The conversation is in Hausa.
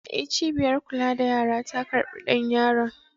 E, cibiyar kula da yara ta karɓi ɗan yaron.